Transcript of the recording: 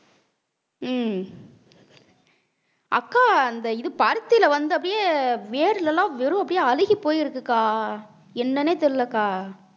ஹம் அக்கா இந்த இது பருத்தியில வந்து அப்படியே வேர்ல எல்லாம் வெறும் அப்படியே அழுகிப் போயிருக்குக்கா என்னனே தெரிலக்கா